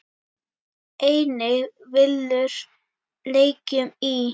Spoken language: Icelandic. Einnig villur leikjum í.